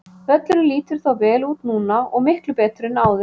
Völlurinn lítur þó vel út núna og miklu betur en áður.